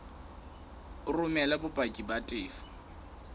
o romele bopaki ba tefo